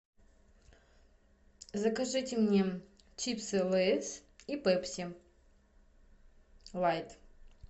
закажите мне чипсы лейс и пепси лайт